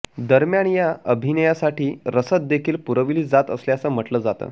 दरम्यान या अभियानासाठी रसद देखील पुरवली जात असल्याचं म्हटलं जातं